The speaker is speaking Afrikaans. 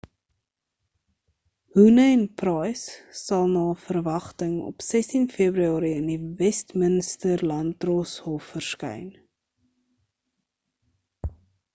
huhne en pryce sal na verwagting op 16 februarie in die westminster-landdroshof verskyn